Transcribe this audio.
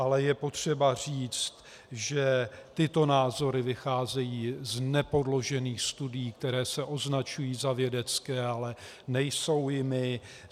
Ale je potřeba říct, že tyto názory vycházejí z nepodložených studií, které se označují za vědecké, ale nejsou jimi.